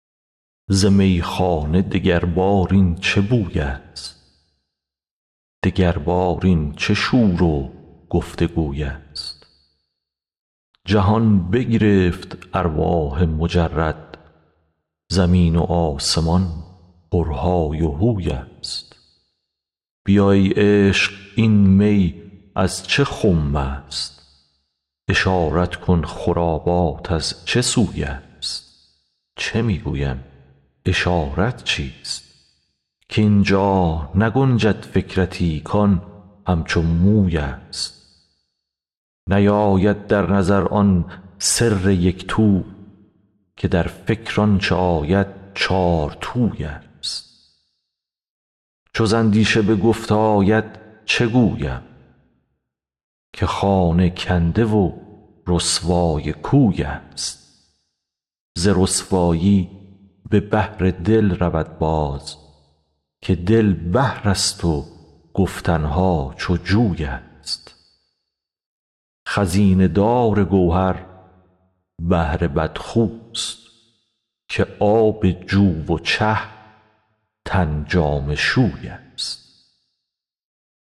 ز میخانه دگربار این چه بویست دگربار این چه شور و گفت و گویست جهان بگرفت ارواح مجرد زمین و آسمان پرهای و هوی ست بیا ای عشق این می از چه خمست اشارت کن خرابات از چه سوی ست چه می گویم اشارت چیست کاین جا نگنجد فکرتی کان همچو مویست نیاید در نظر آن سر یک تو که در فکر آنچ آید چارتویست چو ز اندیشه به گفت آید چه گویم که خانه کنده و رسوای کویست ز رسوایی به بحر دل رود باز که دل بحرست و گفتن ها چو جویست خزینه دار گوهر بحر بدخوست که آب جو و چه تن جامه شویست